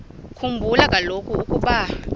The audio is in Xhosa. khumbula kaloku ukuba